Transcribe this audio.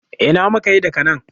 Ina muka yi daga nan?